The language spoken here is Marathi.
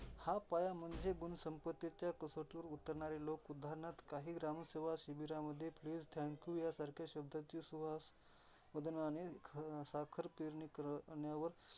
हा पाया म्हणजे गुणसंपत्तीच्या कसोटीवर उतरणारे लोक उदारणार्थ, काही ग्रामसेवा शिबिरांमध्ये please, thank you या सारख्या शब्दाची सुवास वदनाने साखरपेरणी करण्यावर.